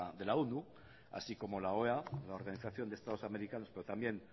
de la onu así como la oea la organización de estados americanos pero también